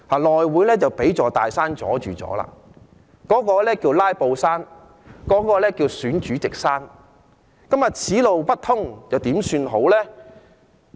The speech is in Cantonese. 內會現在被一座大山阻攔着，這座山叫"拉布山"或"選主席山"，此路不通如何是好？